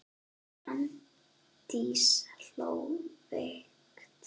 Arndís hló veikt.